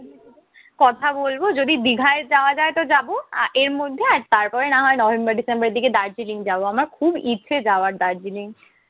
কথা বলবো যদি দিঘায় যাওয়া যায় তো যাব। আর এর মধ্যে আর তারপরে না হয় নভেম্বর ডিসেম্বরের দিকে দার্জিলিং যাব। আমার খুব ইচ্ছে যাবার দার্জিলিং।